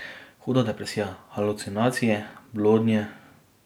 Huda depresija, halucinacije, blodnje.